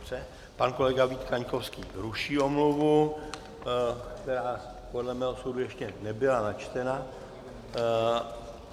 Pan kolega Vít Kaňkovský ruší omluvu, která podle mého soudu ještě nebyla načtena.